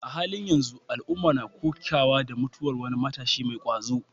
A halin yanzu, al'umma na kokawa da mutuwar wani matashi mai ƙwazo.